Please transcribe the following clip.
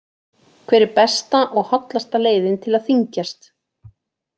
Hver er besta og hollasta leiðin til að þyngjast?